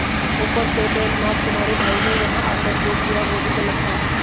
ऊपर से डेलनाज़ तुम्हारे भाई ने यहां आकर जो किया वो भी गलत था